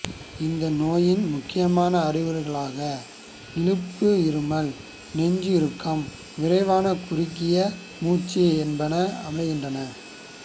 இந்த நோயின் முக்கியமான அறிகுறிகளாக இழுப்பு இருமல் நெஞ்சு இறுக்கம் விரைவான குறுகிய மூச்சு என்பன அமைகின்றன